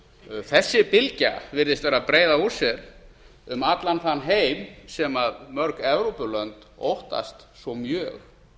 áður þessi bylgja virðist vera að breiða úr sér um allan þann heim sem mörg evrópulönd óttast svo mjög